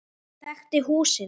Þekkti húsið.